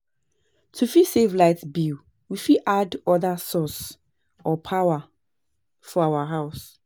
To fit save light bill, we fit add oda sources or power for our house